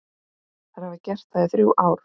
Þær hafa gert það í þrjú ár.